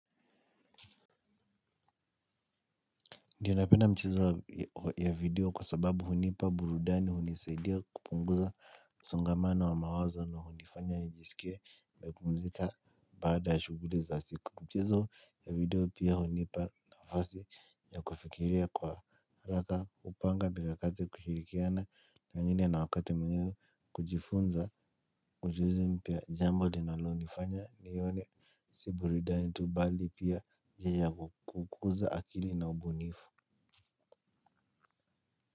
Ndio na penda mchezo ya video kwa sababu hunipa burudani hunisaidia kupunguza msongamano wa mawazo na hunifanya nijisikie nimepumzika baada ya shughuli za siku. Mchezo ya video pia hunipa na nafasi ya kufikiria kwa haraka kupanga mikakati kushirikiana na wengine na wakati mwingine kujifunza ujuzi mpya jambo linalo nifanya nione si burudani tu bali pia njia ya kukuza akili na ubunifu. Kwa hivyo.